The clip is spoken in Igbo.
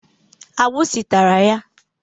Agbụsị tara ya